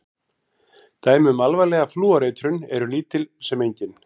Dæmi um alvarlega flúoreitrun eru lítil sem engin.